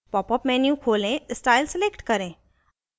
popअप menu खोलें style select करें